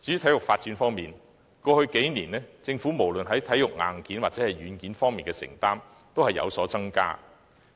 至於體育發展方面，過去數年，政府無論在體育硬件或軟件方面的承擔均有所增加，